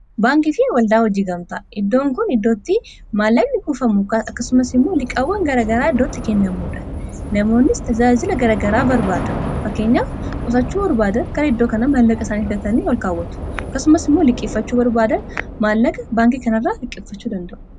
baankii fi waldaa hojii gamtaa iddoon kun iddootti maallamni guufamu akkasumas immuo liqqaawwan garagaraa iddootti kennamuudha namoonni tajaajila garagaraa barbaadu fakkeenyaa qusachuu barbaada gara iddoo kana maalaqa isaan fidatani ol kaawwatu akkasumas immuo liqqiffachuu yoo barbaadan maallaqa baankii kana irraa liqqiffachuu danda'u